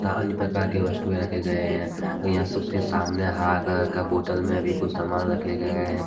अन्य प्रकार के वस्तुएं रखे गए हैं कई वास्तु के सामने हरा कलर के बोतल में भी कुछ सामान भी रखे गए हैं।